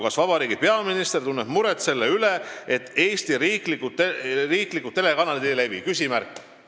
Kas vabariigi peaminister tunneb muret selle üle, et Eesti riiklikud telekanalid ei levi?